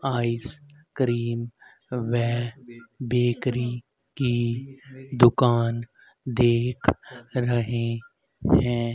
Ice cream वे bakery की दुकान देख रहे हैं।